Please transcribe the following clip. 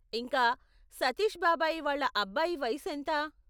ఇంకా, సతీష్ బాబాయి వాళ్ళ అబ్బాయి వయసు ఎంత?